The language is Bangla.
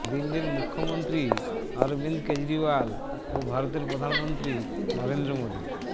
দিল্লির মুখ্যমন্ত্রী অরবিন্দ কেজরিওয়াল ও ভারতের প্রধানমন্ত্রী নরেন্দ্র মোদি